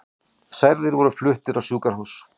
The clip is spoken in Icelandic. Særðir voru fluttir á sjúkrahús